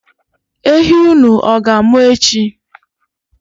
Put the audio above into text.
Ehi unu ọ ga-amụ echi?